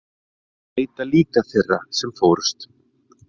Leita líka þeirra sem fórust